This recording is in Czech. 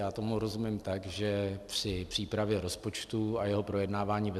Já tomu rozumím tak, že při přípravě rozpočtu a jeho projednávání ve